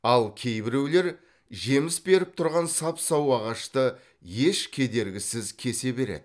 ал кейбіреулер жеміс беріп тұрған сап сау ағашты еш кедергісіз кесе береді